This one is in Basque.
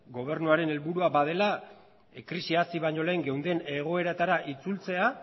gobernuaren helburua badela krisia hasi baino lehen geunden egoeratara itzultzea